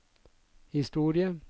historie